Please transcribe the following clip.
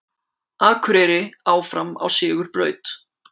Akureyri áfram á sigurbraut